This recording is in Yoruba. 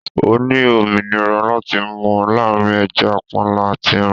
O ní òmìnira láti mú láàrín ẹja panla àti ẹran.